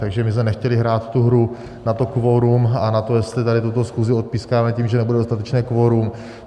Takže my jsme nechtěli hrát tu hru na to kvorum a na to, jestli tady tuto schůzi odpískáme tím, že nebude dostatečné kvorum.